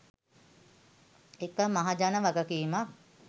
එක මහජන වගකීමක්.